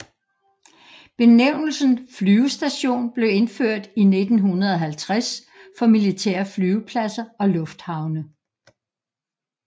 Benævnelsen flyvestation blev indført i 1950 for militære flyvepladser og lufthavne